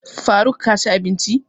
Faruk ka ci abinci?